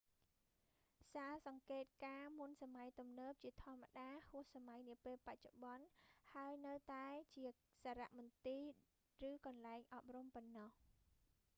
សាលសង្កេតការណ៍មុនសម័យទំនើបជាធម្មតាហួសសម័យនាពេលបច្ចុប្បន្ន ហើយនៅតែមានជាសារមន្ទីរឬកន្លែងអប់រំប៉ុណ្ណោះ